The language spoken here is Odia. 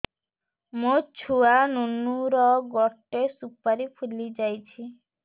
ମୋ ଛୁଆ ନୁନୁ ର ଗଟେ ସୁପାରୀ ଫୁଲି ଯାଇଛି